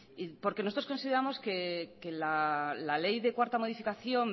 porque nosotros consideramos que la ley de cuarta modificación